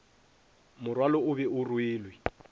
morwalo o be o rwelwe